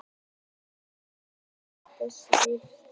Greiðslum Baugs til lögmanns rift